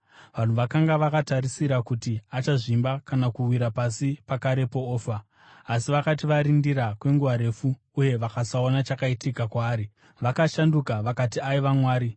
Vanhu vakanga vakatarisira kuti achazvimba kana kuwira pasi pakarepo ofa, asi vakati varindira kwenguva refu uye vakasaona chakaitika kwaari, vakashanduka vakati aiva mwari.